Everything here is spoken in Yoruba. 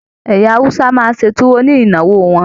Ẹyà Hausa máa n se tuwo ni ìnáwó wọn.